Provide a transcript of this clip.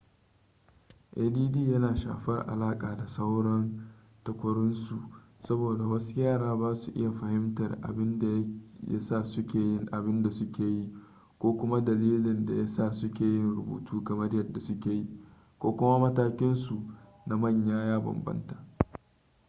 add yana shafar alaƙa da sauran takwarorinsu saboda wasu yara ba sa iya fahimtar abin da ya sa suke yin abin da suke yi ko kuma dalilin da ya sa suke yin rubutu kamar yadda suke yi ko kuma matakinsu na manya ya bambanta